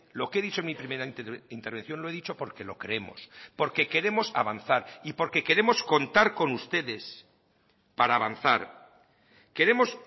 lo que he dicho en mi primera intervención lo he dicho porque lo creemos porque queremos avanzar y porque queremos contar con ustedes para avanzar queremos